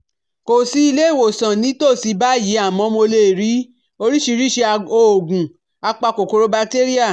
Kò sí ilé ìwòsàn ní ìtòsí báyìí àmọ́ mo lè rí oríṣiríṣi òògùn apa kòkòrò batéríà